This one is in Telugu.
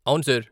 అవును, సార్.